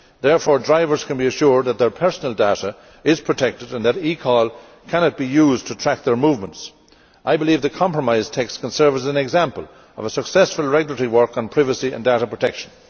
Therefore, drivers can be assured that their personal data is protected and that eCall cannot be used to track their movements. I believe the compromise text can serve as an example of successful regulatory work on privacy and data protection.